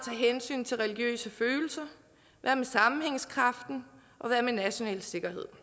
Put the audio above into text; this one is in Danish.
hensyn til religiøse følelser hvad med sammenhængskraften og hvad med national sikkerhed